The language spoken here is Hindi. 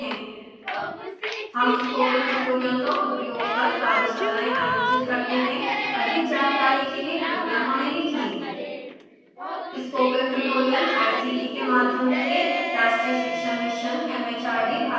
हम स्पोकन ट्यूटोरियल का उपयोग कर कार्यशालाएं आयोजित करते हैं अधिक जानकारी के लिए कृपया contact@spokentutorialorg पर लिखें